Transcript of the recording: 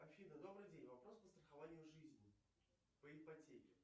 афина добрый день вопрос по страхованию жизни по ипотеке